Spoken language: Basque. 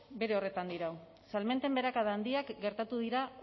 bere horretan dirau salmenten beherakada handiak gertatu dira